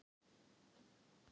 Þar eru til